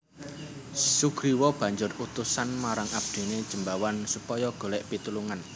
Sugriwa banjur utusan marang abdiné Jembawan supaya golèk pitulungan